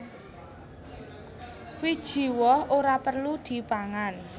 Wiji woh ora perlu dipangan